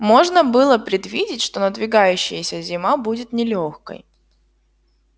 можно было предвидеть что надвигающаяся зима будет нелёгкой